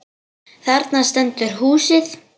Þarna stendur húsið.